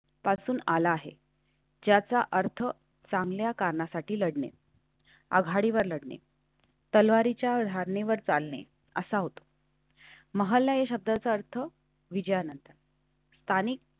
पासून आला आहे ज्याचा अर्थ चांगल्या कारणासाठी लढणे आघाडीवर लढनीं. तलवारीच्या धारणेवर चालणे असा होत. महालय शब्दाचा अर्थ विजयानंतर स्थानिक.